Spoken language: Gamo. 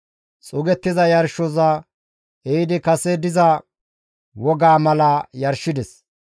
Xuugettiza yarshoza ehidi kase diza wogaa mala yarshides.